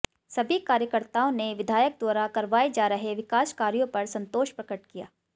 सभी कार्यकर्ताओं ने विधायक द्वारा करवाए जा रहे विकास कार्यों पर संतोष प्रकट किया